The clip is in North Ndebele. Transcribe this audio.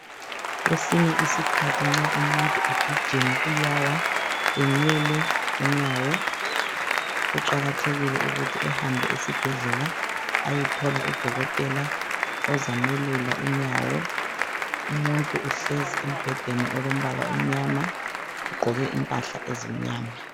Kwesinye isikhathi nxa umuntu egijima uyawa enyele unyawo. Kuqakathekile ukuthi ahambe esibhedlela ayethola u Dokotela ozamelula unyawo. Umuntu uhlezi embhedeni olombala omnyama ugqoke impahla ezimnyama.